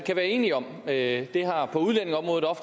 er enige om at